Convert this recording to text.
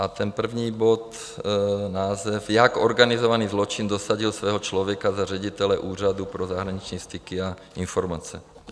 A ten první bod - název: Jak organizovaný zločin dosadil svého člověka za ředitele Úřadu pro zahraniční styky a informace.